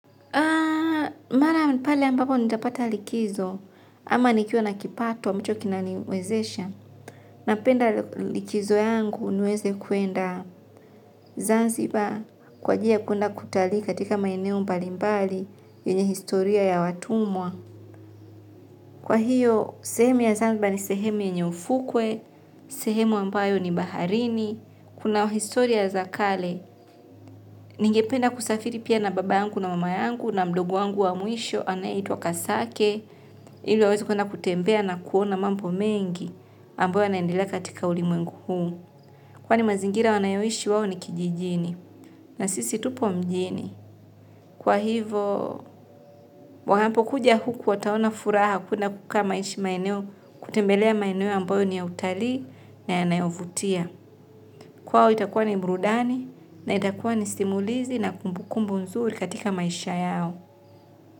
Mara pale ambapo nitapata likizo, ama nikiwa na kipato ambacho kinaniwezesha. Napenda likizo yangu niweze kwenda Zanzibar kwa ajili ya kwenda kutalii katika maeneo mbalimbali yenye historia ya watumwa. Kwa hiyo sehemu ya zanzibar ni sehemu yenye ufukwe sehemu ambayo ni baharini. Kuna historia za kale, ningependa kusafiri pia na baba yangu na mama yangu na mdogo wangu wa mwisho anayeitwa kasake, ili waweze kwenda kutembea na kuona mambo mengi, ambayo yanaendilea katika ulimwengu huu. Kwani mazingira wanayoishi wao ni kijijini, na sisi tupo mjini. Kwa hivo, wanapo kuja huku wataona furaha kuna kuka maishi maeneo, kutembelea maeneo ambayo ni ya utalii na yanayovutia. Kwao itakuwa ni burudani na itakuwa ni simulizi na kumbukumbu nzuri katika maisha yao.